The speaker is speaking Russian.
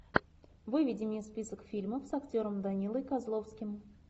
выведи мне список фильмов с актером данилой козловским